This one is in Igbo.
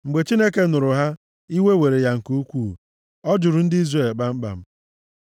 Mgbe Chineke nụrụ ha, iwe were ya nke ukwuu. Ọ jụrụ ndị Izrel kpamkpam.